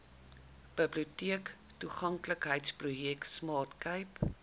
biblioteektoeganklikheidsprojek smart cape